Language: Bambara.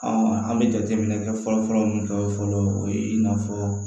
an bɛ jateminɛ kɛ fɔlɔ fɔlɔ min kɛ fɔlɔ o ye i n'a fɔ